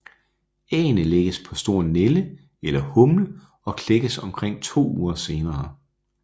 Æggene lægges på stor nælde eller humle og klækkes omkring 2 uger senere